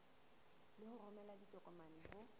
le ho romela ditokomane ho